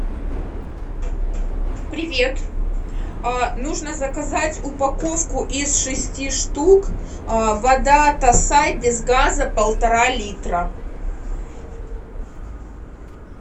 привет нужно заказать упаковку из шести штук вода тассай без газа полтора литра